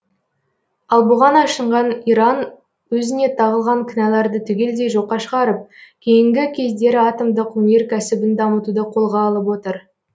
ал бұған ашынған иран өзіне тағылған кінәларды түгелдей жоққа шығарып кейінгі кездері атомдық өнеркәсібін дамытуды қолға алып отыр